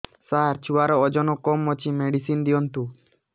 ସାର ଛୁଆର ଓଜନ କମ ଅଛି ମେଡିସିନ ଦିଅନ୍ତୁ